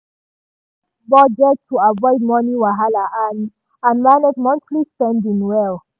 dem arrange budget to avoid money wahala and and manage monthly spending well.